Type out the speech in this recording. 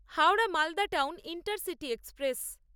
Howrah Malda town intercity express